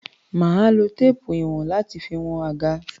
Mà á lo téépù ìwọ̀n láti fi wọn àga.